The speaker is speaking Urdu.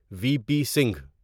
we P Singh